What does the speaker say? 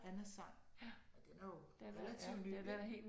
Annas Sang og den er jo relativt ny ik